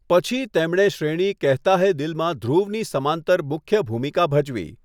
પછી, તેમણે શ્રેણી 'કેહતા હૈ દિલ' માં ધ્રુવની સમાંતર મુખ્ય ભૂમિકા ભજવી.